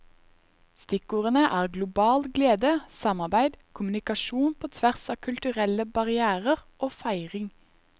Stikkordene er global glede, samarbeid, kommunikasjon på tvers av kulturelle barrièrer og feiring.